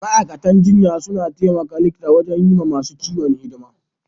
Ma'aikatan jinya suna taimaka likita wajen yi ma masun ciwo hidima.